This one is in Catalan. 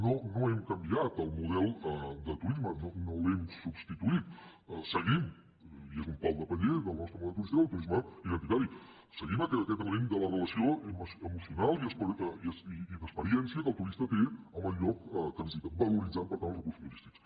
no no hem canviat el model de turisme no l’hem substituït seguim i és un pal de paller del nostre model de turisme el turisme identitari seguim aquest element de la relació emocional i d’experiència que el turista té amb el lloc que visita valoritzant per tant els recursos turístics